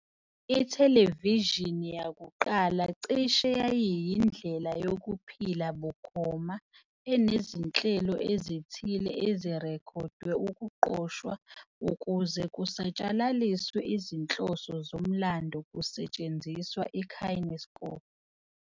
Ithelevishini yakuqala cishe yayiyindlela yokuphila bukhoma enezinhlelo ezithile ezirekhodwe ukuqoshwa ukuze kusatshalaliswe izinhloso zomlando kusetshenziswa iKinescope.